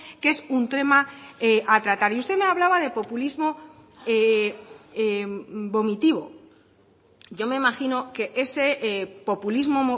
que es un tema a tratar y usted me hablaba de populismo vomitivo yo me imagino que ese populismo